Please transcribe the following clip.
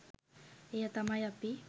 එය තමයි අපි